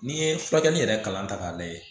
N'i ye furakɛli yɛrɛ kalan ta k'a lajɛ